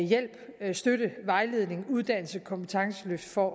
hjælp støtte vejledning uddannelse og kompetenceløft for